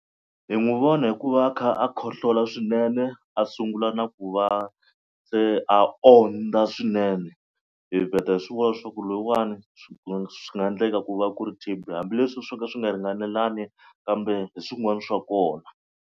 Hi n'wi vona hi ku va a kha a khohlola swinene a sungula na ku va se a ondza swinene hi vheta hi swi vona swa ku loyiwani swi swi nga endleka ku va ku ri T_B hambileswi swo ka swi nga ringanelani kambe hi swin'wana swa kona.